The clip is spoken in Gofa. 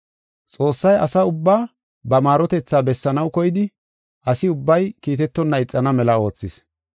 Xoossay asa ubbaa ba maarotethaa bessanaw koyidi, asi ubbay kiitetonna ixana mela oothis.